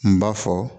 N b'a fɔ